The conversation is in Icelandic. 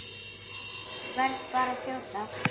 Verð bara að þjóta!